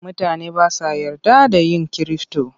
Mutane ba sa yarda da ‘yan kirifto.